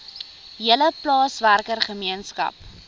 hele plaaswerker gemeenskap